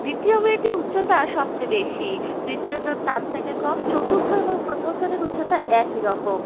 দ্বিতীয় মেয়েটির উচ্চতা সবচেয়ে বেশিতৃতীয় জন তার থেকে কমচতুর্থ এবং প্রথম জনের উচ্চতা একই রকম।